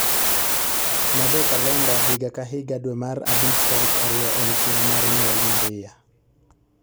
Med e kalenda higa ka higa dwe mar abich tarik ariyo en chieng mar nyuol maria